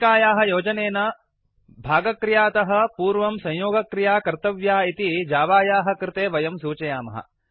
फक्किकायाः योजनेन भागक्रियातः पूर्वं संयोगक्रिया कर्तव्या इति जावायाः कृते वयं सूचयामः